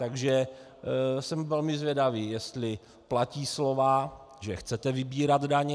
Takže jsem velmi zvědavý, jestli platí slova, že chcete vybírat daně.